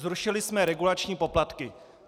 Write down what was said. Zrušili jsme regulační poplatky.